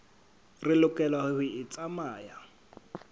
re lokelang ho e tsamaya